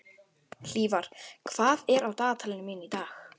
Hlífar, hvað er á dagatalinu mínu í dag?